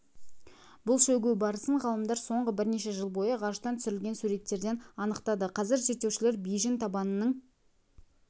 бұл шөгу барысын ғалымдар соңғы бірнеше жыл бойы ғарыштан түсірілген суреттерден анықтады қазір зерттеушілер бейжің табанының